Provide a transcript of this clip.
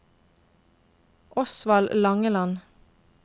Osvald Langeland